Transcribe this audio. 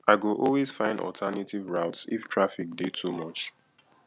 i go always find alternative routes if traffic dey too much